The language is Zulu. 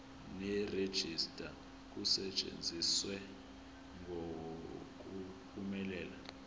nerejista kusetshenziswe ngokuphumelela